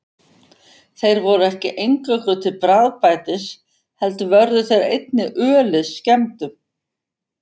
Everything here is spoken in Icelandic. Þeir voru ekki eingöngu til bragðbætis heldur vörðu þeir einnig ölið skemmdum.